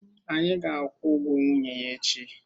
Anyị ga-akwụ ụgwọ nwunye ya echi